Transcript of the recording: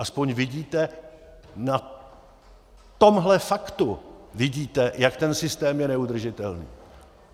Aspoň vidíte, na tomhle faktu vidíte, jak ten systém je neudržitelný.